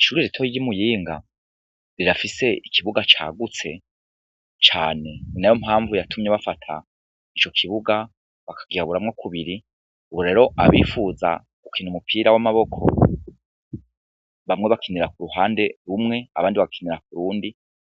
Ishure rito ryi Muyinga rirafise ikibuga cagutse cane ni nayo mpamvu yatumye bafata ico kibuga bakigaburamwo kubiri, ubu rero abipfuza gukina umupira w' amaboko bamwe bakinira ku ruhande rumwe abandi bakinira kurundi